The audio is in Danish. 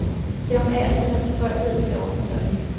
Det har hun af og til haft tilbøjelighed til at overfortolke.